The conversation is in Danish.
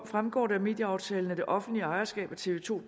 fremgår det af medieaftalen at det offentlige ejerskab af tv to